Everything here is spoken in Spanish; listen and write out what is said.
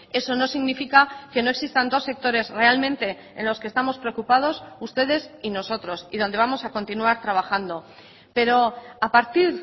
eso no significa que no existan dos sectores realmente en los que estamos preocupados ustedes y nosotros y donde vamos a continuar trabajando pero a partir